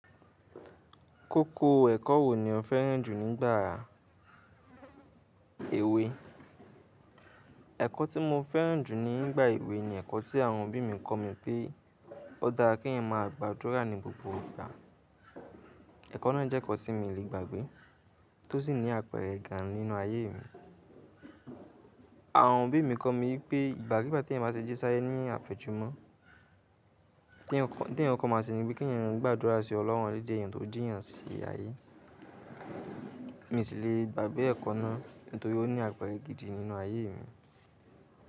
Kókó ẹ̀kọ́ wo ni o fẹ́ràn jù nígbà èwe? Ẹ̀kọ́ tí mo fẹ́ràn jù nígbà èwe ni ẹ̀kọ́ tí àwọn òbí mi kọ mi pé ó dára kí ẹ̀yàn máa gbàdúrà ní gbogbo ìgbà. Ẹ̀kọ́ náà jẹ́ ekọ́ tí mi lé gbàgbé, tó sì ní àpẹẹrẹ gán nínú ayé mi. Àwọn òbí mi kọ mi wipé ìgbàkiígbà tí eẹ̀yàn bá ti jíṣáyé ní àfẹ́jù mọ́, ntí eẹ̀yàn kọko máa sẹni wípé kí ẹ̀eyàn gbàdúrà sí ọlọ́run eleda eeyẹn tó jì eeyan sí ayé. Mi n sì lè gbàgbé ẹ̀kọ́ náà nítorí ó ní àpẹẹrẹ gidi nínú ayé mi.